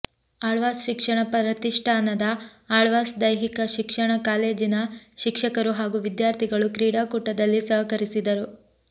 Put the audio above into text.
ಆಳ್ವಾಸ್ ಶಿಕ್ಷಣ ಪ್ರತಿಷ್ಠಾನದ ಆಳ್ವಾಸ್ ದೈಹಿಕ ಶಿಕ್ಷಣ ಕಾಲೇಜಿನ ಶಿಕ್ಷಕರು ಹಾಗೂ ವಿದ್ಯಾರ್ಥಿಗಳು ಕ್ರೀಡಾಕೂಟದಲ್ಲಿ ಸಹಕರಿಸಿದರು